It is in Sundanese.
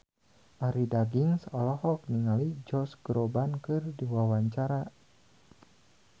Arie Daginks olohok ningali Josh Groban keur diwawancara